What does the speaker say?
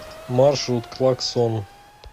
маршрут клаксон